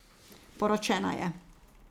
Poročena je.